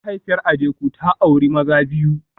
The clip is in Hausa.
Mahaifiyar Adeku ta auri maza biyu